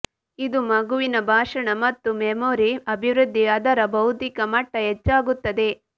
ಇದು ಮಗುವಿನ ಭಾಷಣ ಮತ್ತು ಮೆಮೊರಿ ಅಭಿವೃದ್ಧಿ ಅದರ ಬೌದ್ಧಿಕ ಮಟ್ಟ ಹೆಚ್ಚಾಗುತ್ತದೆ